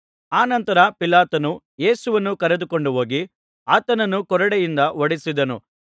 ಆನಂತರ ಪಿಲಾತನು ಯೇಸುವನ್ನು ಕರೆದುಕೊಂಡು ಹೋಗಿ ಆತನನ್ನು ಕೊರಡೆಯಿಂದ ಹೊಡೆಸಿದನು